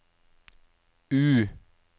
U